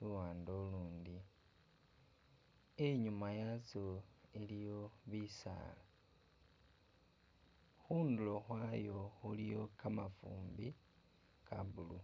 luwande ulundi, inyuma yatsyo iliyo bisaala,,,, hundulo hwayo huliyo kamafumbi ka blue